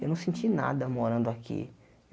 Eu não senti nada morando aqui.